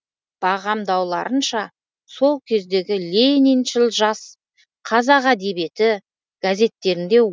бағамдауларынша сол кездегі лениншіл жас қазақ әдебиеті газеттерінде